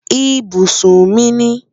Ibusun mi ni